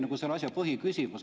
See oli selle asja põhiküsimus.